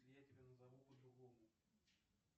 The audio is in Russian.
я тебя назову по другому